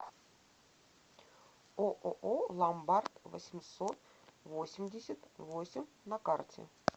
ооо ломбард восемьсот восемьдесят восемь на карте